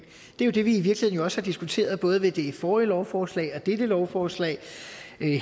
er jo det vi i virkeligheden også har diskuteret både ved det forrige lovforslag og dette lovforslag